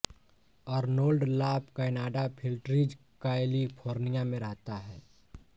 Arnold La Canada Flintridge California में रहता है